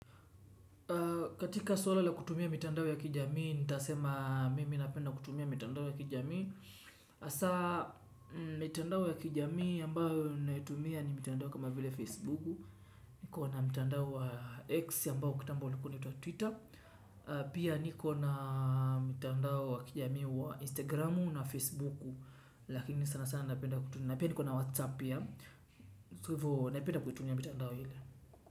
Katika swala la kutumia mitandao ya kijamii, nita sema mimi napenda kutumia mitandao ya kijamii. Hasa, mitandao ya kijamii ambayo ninaitumia ni mitandao kama vile Facebook. Nikona mitandao wa X ambao kitambo ulikua unaitwa Twitter. Pia niko na mitandao wa kijamii wa Instagram na Facebook. Lakini sana sana napenda kutumia. Na pia nikona Whatsapp pia. Kwa hivo, napenda kutumia mitandao ile.